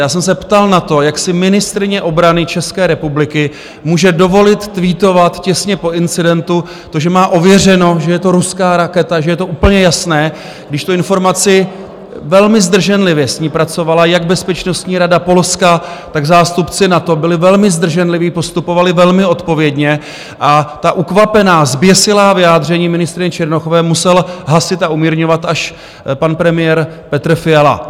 Já jsem se ptal na to, jak si ministryně obrany České republiky může dovolit tweetovat těsně po incidentu to, že má ověřeno, že je to ruská raketa, že je to úplně jasné, když tu informaci, velmi zdrženlivě s ní pracovala jak Bezpečnostní rada Polska, tak zástupci NATO, byli velmi zdrženliví, postupovali velmi odpovědně, a ta ukvapená, zběsilá vyjádření ministryně Černochové musel hasit a umírňovat až pan premiér Petr Fiala.